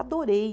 Adorei.